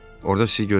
Orda sizi gözləyəcəm?